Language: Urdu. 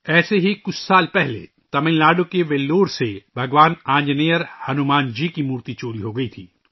ایسے ہی کچھ سال پہلے تمل ناڈو کے ویلور سے بھگوان آنجنییّر ، ہنومان جی کی مورتی چوری ہو گئی تھی